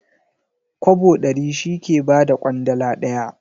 Kwabo ɗari shi ke ba da ƙwandala ɗaya.